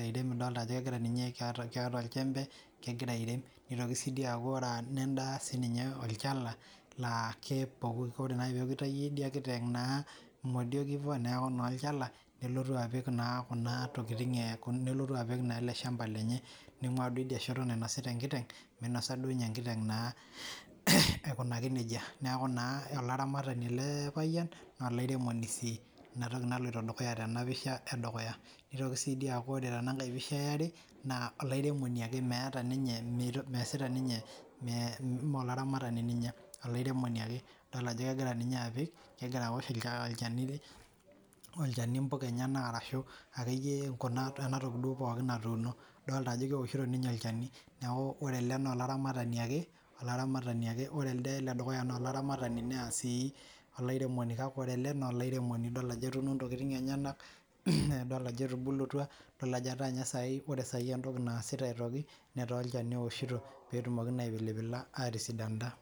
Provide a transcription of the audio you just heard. airem idol ajo kekira ninye keeta olchembe, kekira airem. Nitoki sii dii aaku wore nenda sininye olchala laa wore naaji peeku itayio idia kiteng naa imodiak ivo neeku naa olchala, nelotu apik naa kuna tokitin, nelotu apik elde shamba lenye. Ningua duo idia shoto nainosita enkiteng, minosa duo ninye enkiteng naa aikunaki nejia. Neeku naa olaramatani ele payian naa olairemoni sii, inatoki naloito dukuya tenapisha edukuya. Nitoki sii idia aaku wore tenankae pisha eare. Naa olairemoni ake meeta ninye measita ninye, maa olaramatani ninye, olairemoni ake. Idol ajo kekira ninye apik, kekira aosh olchani impuka enyanak arashu akeyie enatoki duo pookin natuuno. Idoolta ajo keoshito ninye olchani. Neeku wore ele naa olaramatani ake, olaramatani ake wore elde ledukuya naa olaramatani naa sii olairemoni kake wore ele naa olairemoni idol ajo etuuno intokitin enyanak. Idol ajo etubulutwa, idol ajo etaa ninye sai wore sai entoki naasita aitoki, netaa olchani eoshito peetumoki naa aipilipila aatisidana.